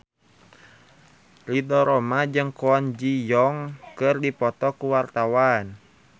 Ridho Roma jeung Kwon Ji Yong keur dipoto ku wartawan